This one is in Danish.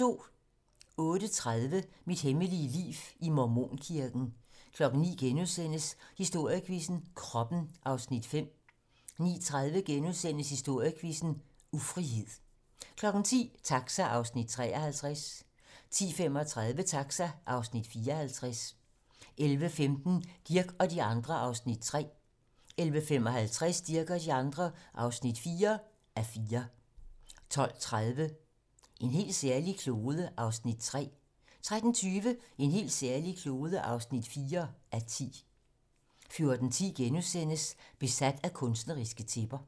08:30: Mit hemmelige liv i Mormonkirken 09:00: Historiequizzen: Kroppen (Afs. 5)* 09:30: Historiequizzen: Ufrihed * 10:00: Taxa (Afs. 53) 10:35: Taxa (Afs. 54) 11:15: Dirch og de andre (3:4) 11:55: Dirch og de andre (4:4) 12:30: En helt særlig klode (3:10) 13:20: En helt særlig klode (4:10) 14:10: Besat af kunstneriske tæpper *